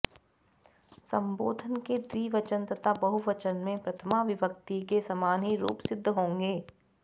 सम्बोधन के द्विवचन तथा बहुवचन में प्रथमा विभक्ति के समान ही रूप सिद्ध होंगें